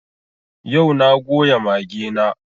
Yau na goya mage na